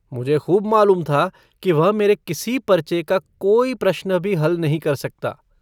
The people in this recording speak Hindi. मुझे खूब मालूम था कि वह मेरे किसी पर्चे का कोई प्रश्न भी हल नहीं कर सकता।